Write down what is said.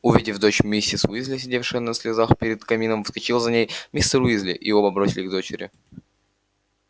увидев дочь миссис уизли сидевшая в слезах перед камином вскочила за ней мистер уизли и оба бросились к дочери